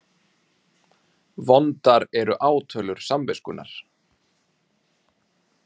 Vondar eru átölur samviskunnar.